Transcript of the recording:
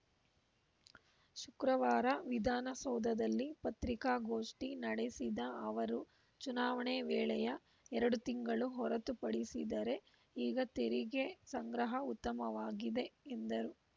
ಶುಕ್ರವಾರ ವಿಧಾನಸೌಧದಲ್ಲಿ ಪತ್ರಿಕಾಗೋಷ್ಠಿ ನಡೆಸಿದ ಅವರು ಚುನಾವಣೆ ವೇಳೆಯ ಎರಡು ತಿಂಗಳು ಹೊರತುಪಡಿಸಿದರೆ ಈಗ ತೆರಿಗೆ ಸಂಗ್ರಹ ಉತ್ತಮವಾಗಿದೆ ಎಂದರು